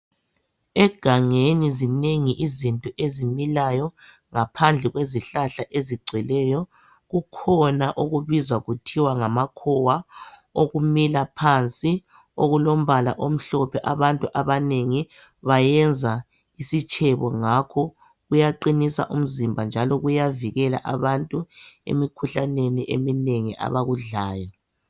Egangeni zinengi izinto ezimilayo ngaphandle kwezihlahla . Kukhona okubizwa kuthiwa ngamakhowa okumila phansi okulombala omhlophe. Abantu abanengi bayenza isitshebo ngakho .Kuyaqinisa umzimba njalo kuyavikela abantu emikhuhlaneni eminengi abakudlayo.